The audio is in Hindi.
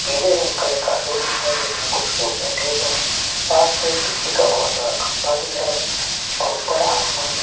पिले रंग का एक है जिसमे कुछ लोग बैठे हुए है पास में बिजली का एक बहोत बड़ा खम्बा दिख रहा है और ऊपर आसमान में--